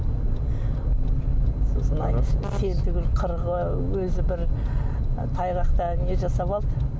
сосын айтады сен түгілі өзі бір тайғақта не жасап алды